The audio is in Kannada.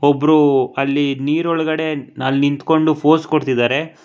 ಒಬ್ರು ಅಲ್ಲಿ ನೀರ್ ಒಳಗಡೆ ಅಲ್ ನಿಂತ್ಕೊಂಡು ಪೋಸ್ ಕೊಡ್ತಿದಾರೆ.